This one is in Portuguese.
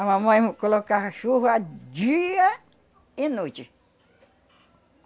A mamãe colocava chuva dia e noite.